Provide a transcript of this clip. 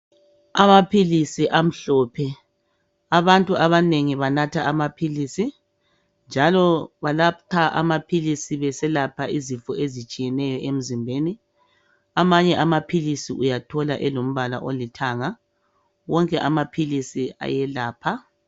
Amaphilisi amhlophe abantu abanengi banatha amaphilisi njalo banatha amaphilisi beselapha izifo ezitshiyeneyo emzimbeni amanye amaphilisi uyathola elombala olithanga wonke amaphilisi ayelapha.